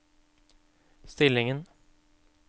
stillingen